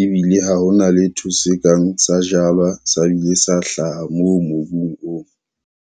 ebile ha hona letho se kang sa jalwa sa bile sa hlaha moo mobung oo.